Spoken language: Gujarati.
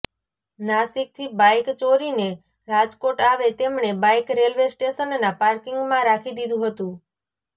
નાસીકથી બાઈક ચોરીને રાજકોટ આવે તેમણે બાઈક રેલવે સ્ટેશનના પાર્કીંગમાં રાખી દીધુ હતુ